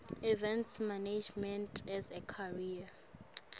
events management as a career